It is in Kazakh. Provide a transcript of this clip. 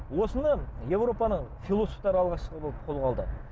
осыны еуропаны философтар алғашқы болып қолға алды